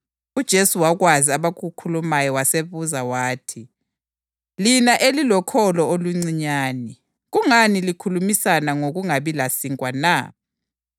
UJesu wakwazi abakukhulumayo wasebuza wathi, “Lina elilokholo oluncinyane, kungani likhulumisana ngokungabi lasinkwa na?